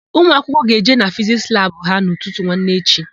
Ụmụakwụkwọ ga-eje na Fiziks labụ ha n'ụtụtụ nwanne echi.